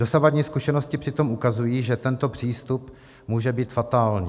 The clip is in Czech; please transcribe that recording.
Dosavadní zkušenosti přitom ukazují, že tento přístup může být fatální.